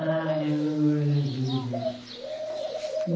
Ah, era uma maravilha.